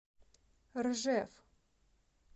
ржев